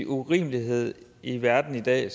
urimelighed i verden i dag